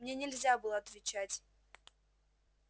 мне нельзя было отвечать